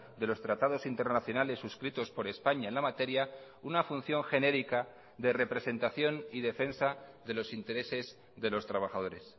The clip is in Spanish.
de los tratados internacionales suscritos por españa en la materia una función genérica de representación y defensa de los intereses de los trabajadores